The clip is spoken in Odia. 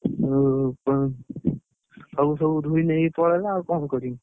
ଆଉ ସବୁ ଧୋଇ ନେଇ ପଳେଇଲା ଆଉ କଣ କରିବି।